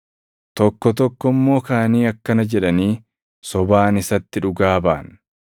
Tokko tokko immoo kaʼanii akkana jedhaanii sobaan isatti dhugaa baʼan: